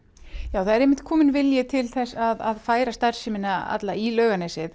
það er kominn vilji til þess að færa starfsemina í Laugarnesið